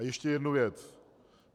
A ještě jedna věc.